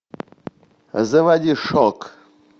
заводи шок